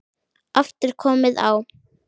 aftur komið á.